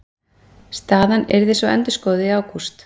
Staðan yrði svo endurskoðuð í ágúst